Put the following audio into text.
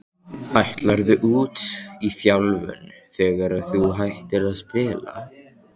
Ætlarðu út í þjálfun þegar að þú hættir að spila?